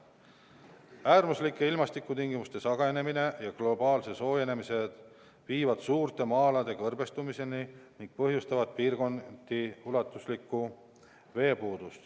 Äärmuslike ilmastikutingimuste sagenemine ja globaalne soojenemine viivad suurte maa-alade kõrbestumiseni ning põhjustavad piirkonniti ulatuslikku veepuudust.